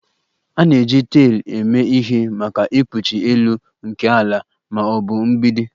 A na-eji taịl eme ihe maka ikpuchi elu nke ala ma ọ bụ mgbidi